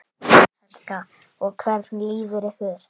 Helga: Og hvernig líður ykkur?